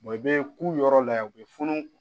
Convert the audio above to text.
i bɛ k'u yɔrɔ la yan u bɛ funu